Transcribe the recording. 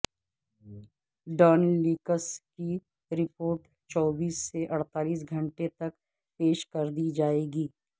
Dawn leaks کی report چوبیس سے اڑتالیس گھنٹے تک پیش کردی جائے گی